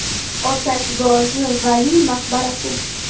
Otashbozi Valiy maqbarasi.